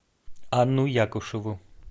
анну якушеву